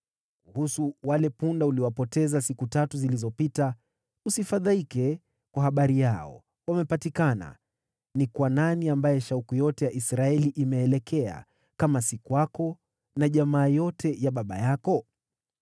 Kuhusu wale punda uliowapoteza siku tatu zilizopita, usifadhaike kwa habari yao; wamepatikana. Ni kwa nani ambaye shauku yote ya Israeli imeelekea, kama si kwako na jamaa yote ya baba yako?”